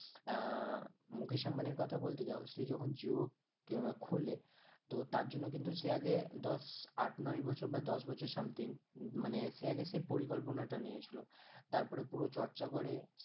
আহ মুকেশ আম্বানির কথা বলতে যাও সে যখন জিও খোলে তো তার জন্য কিন্তু সে আগে দশ আট, নয় বছর বা দশ বছর something উম মানে সে আগে সেই পরিকল্পনা টা নিয়েছিল তারপরে পুরো চর্চা করে